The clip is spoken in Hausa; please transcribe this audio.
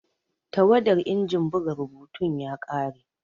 Tawadar injin buga rubutun ya kare.